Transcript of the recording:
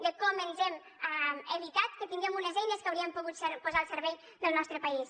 de com ens hem evitat que tinguem unes eines que haurien pogut posar al servei del nostre país